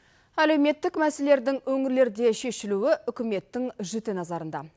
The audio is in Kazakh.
әлеуметтік мәселелердің өңірлерде шешілуі үкіметтің жіті назарында